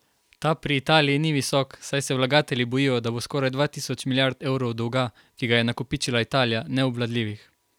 Ta pri Italiji ni visok, saj se vlagatelji bojijo, da bo skoraj dva tisoč milijard evrov dolga, ki ga je nakopičila Italija, neobvladljivih.